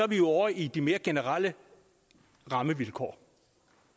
vi er ovre i de mere generelle rammevilkår